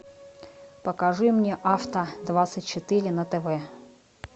покажи мне авто двадцать четыре на тв